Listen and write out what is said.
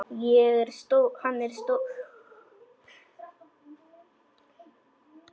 Hann er stór núna.